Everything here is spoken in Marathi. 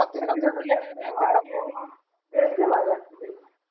taste लय भारी असते त्याची